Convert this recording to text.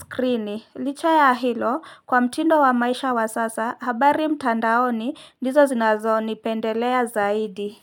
screen. Licha ya hilo, kwa mtindo wa maisha wa sasa, habari mtandaoni ndizo zinazonipendelea zaidi.